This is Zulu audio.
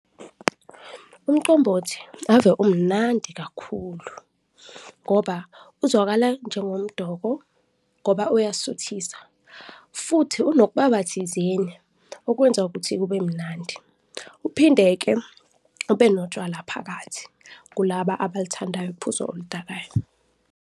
Umqombothi ave umnandi kakhulu ngoba uzwakala njengomdoko ngoba uyasuthisa futhi unokubaba thizeni, okwenza ukuthi kube mnandi uphinde-ke ube notshwala phakathi kulaba abalithandayo uphuzo oludakayo.